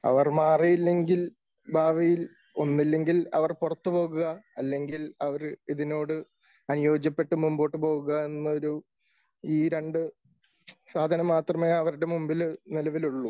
അവർ മാറിയില്ലെങ്കിൽ ഭാവിയിൽ ഒന്നില്ലെങ്കിൽ അവർ പുറത്തുപോകുക അല്ലെങ്കിൽ അവർ ഇതിനോട് അനുയോജ്യപ്പെട്ട് മുമ്പോട്ടു പോകുക എന്ന ഒരു ഈ രണ്ട് സാധനം മാത്രമേ അവരുടെ മുമ്പിൽ നിലവിലുള്ളൂ